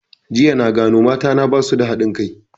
Jiya na gano mata na basu da haɗin kai